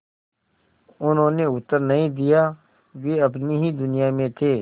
उन्होंने उत्तर नहीं दिया वे अपनी ही दुनिया में थे